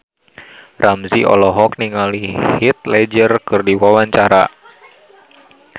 Ramzy olohok ningali Heath Ledger keur diwawancara